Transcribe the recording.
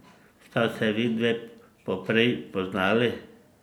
Sta se vidve poprej poznali?